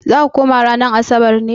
Za ka koma ranar Asabar ne?